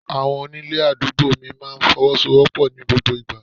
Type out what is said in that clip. Àwọn onílé àdúgbò mi máa ń fọwọ́sowopo ní gbogbo ìgbà.